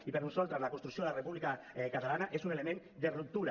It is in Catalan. i per nosaltres la construcció de la república catalana és un element de ruptura